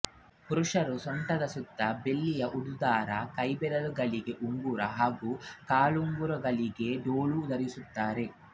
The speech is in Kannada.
ಪುರುಷರು ಸೊಂಟದ ಸುತ್ತ ಬೆಳ್ಳಿಯ ಉಡುದಾರ ಕೈಬೆರಳುಗಳಿಗೆ ಉಂಗುರ ಹಾಗೂ ಕಾಲ್ಬೆರಳುಗಳಿಗೆ ಡೋಲೋ ಧರಿಸುತ್ತಾರೆ